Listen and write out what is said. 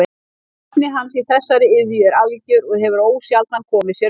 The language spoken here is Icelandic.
Hæfni hans í þessari iðju er algjör og hefur ósjaldan komið sér vel.